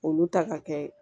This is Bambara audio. Olu ta ka kɛ